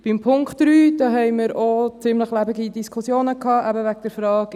Zum Punkt 3 hatten wir auch ziemlich lebhafte Diskussionen, eben wegen der Frage: